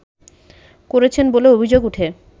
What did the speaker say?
করেছেন বলে অভিযোগ উঠে